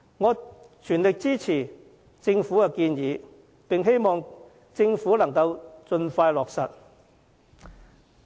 我全力支持政府的建議，希望能盡快落實。